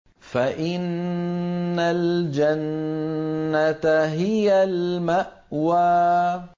فَإِنَّ الْجَنَّةَ هِيَ الْمَأْوَىٰ